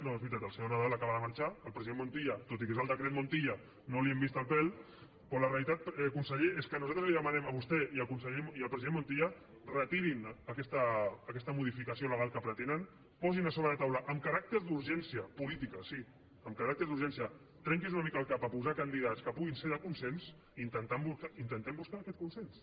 no és veritat el senyor nadal acaba de marxar al president montilla tot i que és el decret montilla no li hem vist el pèl però la realitat conseller és que nosaltres li demanem a vostè i al president montilla retirin aquesta modificació legal que pretenen posin a sobre de la taula amb caràcter d’urgència política sí amb caràcter d’urgència trenqui’s una mica el cap a posar candidats que puguin ser de consens i intentem buscar aquest consens